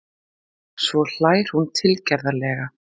Svo hlær hún tilgerðarlega.